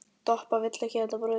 Doppa vill ekki þetta brauð.